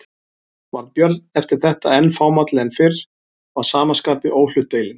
Varð Björn eftir þetta enn fámálli en fyrr og að sama skapi óhlutdeilinn.